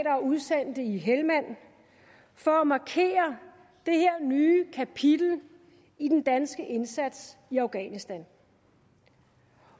og udsendte i helmand for at markere det nye kapitel i den danske indsats i afghanistan